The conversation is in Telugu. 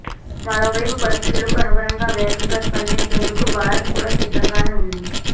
మరోవైపు పరిస్థితులకు అనుగుణంగా వేగంగా స్పందించేందుకు భారత్ కూడా సిద్ధంగానే ఉంది